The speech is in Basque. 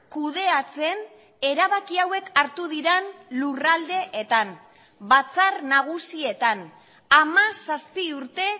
kudeatzen erabaki hauek hartu diren lurraldeetan batzar nagusietan hamazazpi urte